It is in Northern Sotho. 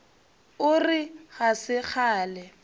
o re ga se kgale